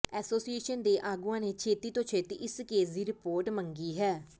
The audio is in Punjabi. ਐਸੋਸੀਏਸ਼ਨ ਦੇ ਆਗੂਆਂ ਨੇ ਛੇਤੀ ਤੋਂ ਛੇਤੀ ਇਸ ਕੇਸ ਦੀ ਰਿਪੋਰਟ ਮੰਗੀ ਹੈ